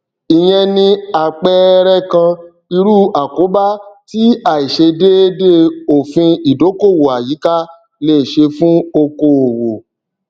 ìyẹn ni àpẹẹrẹ kan irú àkóbá tí àìṣedéédé òfin ìdókòòwò àyíká lè ṣe fún okòòwò